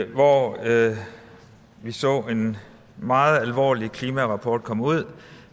hvor vi så en meget alvorlig klimarapport komme ud